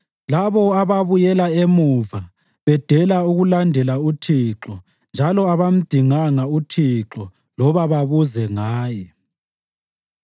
labo ababuyela emuva bedela ukulandela uThixo njalo abangamdinganga uThixo loba babuze ngaye.